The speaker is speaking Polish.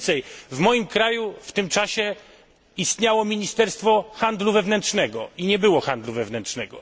Co więcej, w moim kraju w tym czasie istniało ministerstwo handlu wewnętrznego i nie było handlu wewnętrznego.